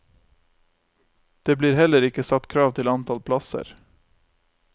Det blir heller ikke satt krav til antall plasser.